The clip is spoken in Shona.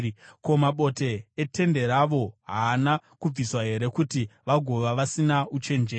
Ko, mabote etende ravo haana kubviswa here kuti vagofa vasina uchenjeri?’